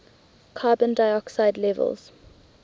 carbon dioxide levels